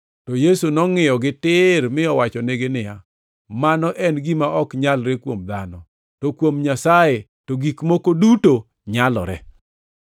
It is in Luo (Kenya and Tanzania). To Yesu nongʼiyogi tir mi owachonegi niya, “Mano en gima ok nyalre kuom dhano, to kuom Nyasaye to gik moko duto nyalore.”